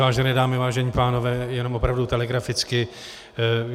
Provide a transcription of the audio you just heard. Vážené dámy, vážení pánové, jenom opravdu telegraficky.